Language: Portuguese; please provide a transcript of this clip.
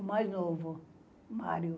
O mais novo, Mário.